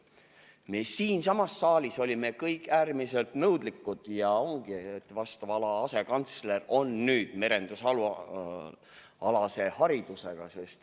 Me siinsamas saalis olime kõik äärmiselt nõudlikud ja nüüd ongi vastava ala asekantsler merendusalase haridusega.